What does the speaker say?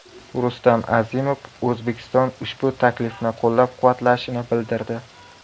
Rustam Azimov O‘zbekiston ushbu taklifni qo‘llab-quvvatlashini bildirdi.